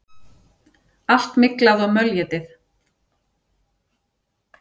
Allt myglað og mölétið!